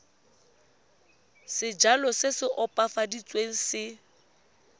sejalo se se opafaditsweng se